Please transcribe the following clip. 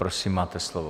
Prosím, máte slovo.